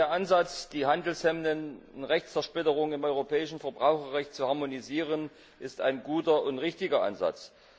Ich denke, der Ansatz, die handelshemmende Zersplitterung im europäischen Verbraucherrecht zu harmonisieren, ist ein guter und richtiger Ansatz.